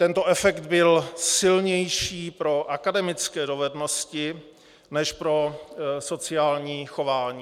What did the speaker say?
Tento efekt byl silnější pro akademické dovednosti než pro sociální chování.